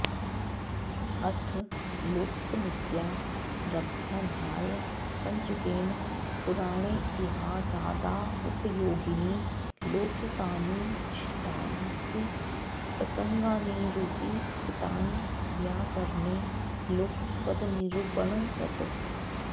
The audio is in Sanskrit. अथ लौकिकमित्यारभ्याध्यायपञ्चकेन पुराणेतिहासादावुपयोगीनि लौकिकानि च्छन्दांसि प्रसङ्गान्निरूपितानि व्याकरणे लौकिकपदनिरूपणवत्